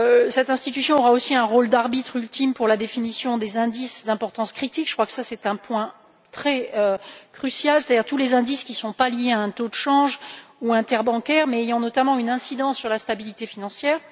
Cette institution aura aussi un rôle d'arbitre ultime pour la définition des indices d'importance critique je crois que cela est un point très crucial à savoir tous les indices qui ne sont pas liés à un taux de change ou interbancaires mais qui ont notamment une incidence sur la stabilité financière.